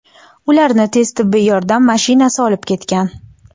Ularni tez tibbiy yordam mashinasi olib ketgan.